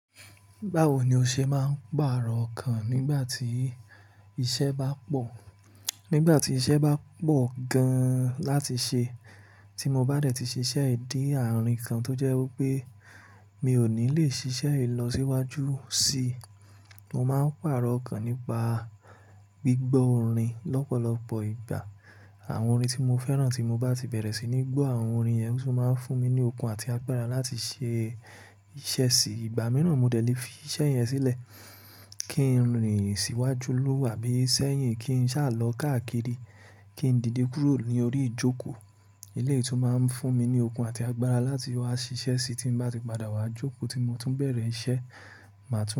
Báwo ni o ṣe máa ń pàrọ̀ ọkàn nígbà tí iṣẹ́ bá pọ̀? Nígbà tí iṣẹ́ bá pọ̀ gan láti ṣe tí mo bá dẹ̀ ti ṣiṣẹ́ yì dè àárín kan tó jẹ́ wípé mi ò ní lè ṣiṣẹ́ è lọ síwájú síi, mo máa ń pàrọ̀ ọkàn nípa gbígbọ́ orin lọ́pọ̀lọpọ̀ ìgbà. Àwọn orin tí mo fẹ́ràn tí mo bá ti bẹ̀rẹ̀ sí ní gbọ́ àwọn orin yẹn, ó tún máa ń fún mi ní okun àti agbára láti ṣe iṣẹ́ síi. Ìgbà mìíràn, mo dẹ̀ lé fi iṣẹ́ yẹn sílẹ̀ kí n rìn síwájú lóòwà bí i sẹ́yìn kí n sá lọ káàkiri, kí n dìde kúrò ní orí ìjókòó. Eléyìí tún máa ń fún mi ní okun àti agbára láti wá ṣiṣẹ́ síí tí mo bá ti padà wá jókòó tí mo tún bẹ̀rẹ̀ iṣẹ́, màá tún.